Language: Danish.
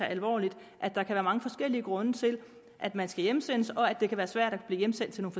alvorligt at der kan være mange forskellige grunde til at man skal hjemsendes og at det kan være svært at blive hjemsendt